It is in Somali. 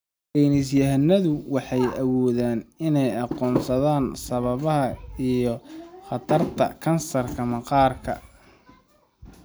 Saynis yahanadu waxay awoodeen inay aqoonsadaan sababaha iyo khatarta kansarka maqaarka.